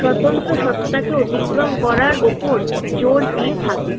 স্বতন্ত্র সত্তাকেও অতিক্রম করার ওপর জোর দিয়ে থাকে।